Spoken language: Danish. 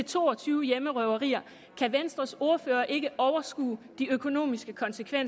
to og tyve hjemmerøverier kan venstres ordfører ikke overskue de økonomiske konsekvenser